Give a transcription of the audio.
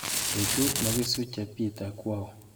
Betu nekisuche Peter ko auu?